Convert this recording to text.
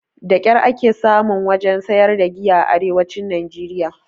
Da ƙyar ake samun wajen sayar da giya a arewacin najeriya